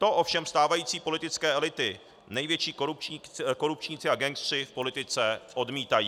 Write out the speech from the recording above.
To ovšem stávající politické elity, největší korupčníci a gangsteři v politice, odmítají.